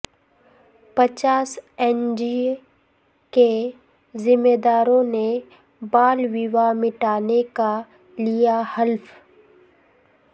پچاس N G کے ذمہ داروں نے بال ویواہ مٹانے کا لیا حلف